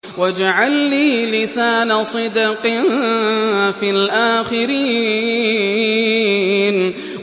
وَاجْعَل لِّي لِسَانَ صِدْقٍ فِي الْآخِرِينَ